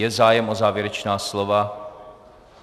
Je zájem o závěrečná slova?